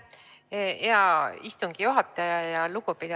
Aitäh, hea istungi juhataja!